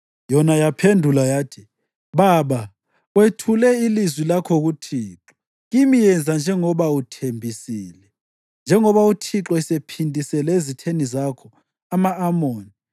Yona yaphendula yathi, “Baba, wethule ilizwi lakho kuThixo. Kimi yenza njengoba uthembisile, njengoba uThixo esephindisele ezitheni zakho, ama-Amoni.”